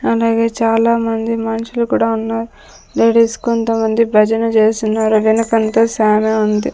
అలాగే చాలామంది మనుషులు కూడా ఉన్నారు లేడీస్ కొంతమంది భజన చేస్తున్నారు వెనకంతా సానా ఉంది.